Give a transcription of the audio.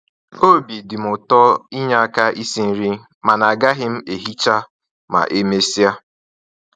Obi dịm ụtọ inye aka isi nri, mana agaghị m ehicha ma e mesịa